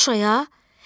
Şuşaya?